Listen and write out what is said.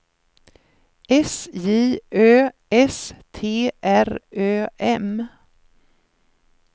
S J Ö S T R Ö M